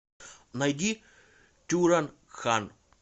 найди тюран хан